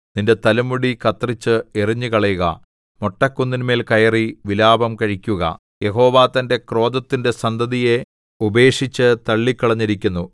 നിന്റെ തലമുടി കത്രിച്ച് എറിഞ്ഞുകളയുക മൊട്ടക്കുന്നിന്മേൽ കയറി വിലാപം കഴിക്കുക യഹോവ തന്റെ ക്രോധത്തിന്റെ സന്തതിയെ ഉപേക്ഷിച്ചു തള്ളിക്കളഞ്ഞിരിക്കുന്നു